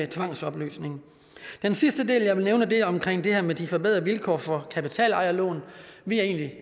tvangsopløsning den sidste del jeg vil nævne er omkring det her med de forbedrede vilkår for kapitalejerlån vi er egentlig